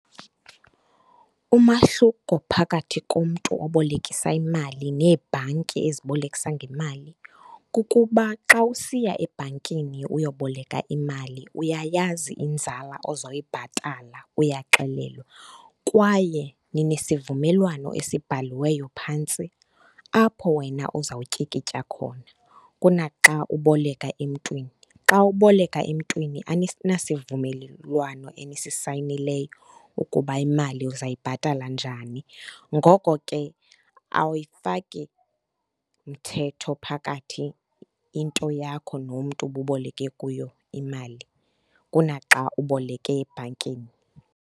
Umahluko phakathi komntu obolekisa imali neebhanki ezibolekisa ngemali, kukuba xa usiya ebhankini uyoboleka imali uyayazi inzala ozoyibhatala, uyaxelelwa, kwaye ninesivumelwano esibhaliweyo phantsi, apho wena uzawutyikitya khona, kuna xa uboleka emntwini. Xa uboleka emntwini aninasivumelwano enisisayinileyo ukuba imali uzawuyibhatala njani. Ngoko ke, awuyifaki mthetho phakathi into yakho nomntu ububoleke kuyo imali, kunaxa uboleke ebhankini.